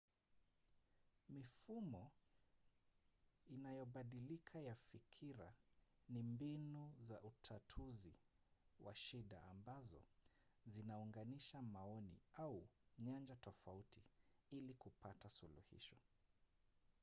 mifumo inayobadilika ya fikira ni mbinu za utatuzi wa shida ambazo zinaunganisha maoni au nyanja tofauti ili kupata suluhisho